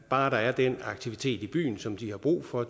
bare der er den aktivitet i byen som de har brug for og